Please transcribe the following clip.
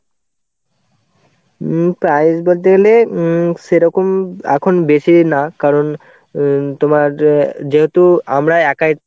উম price বলতে গেলে উম সেরকম এখন বেশি নি না. কারণ উম তোমার অ্যাঁ যেহেতু আমরা একাই